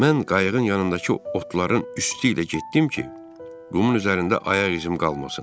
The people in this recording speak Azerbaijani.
Mən qayığın yanındakı otların üstü ilə getdim ki, qumun üzərində ayaq izim qalmasın.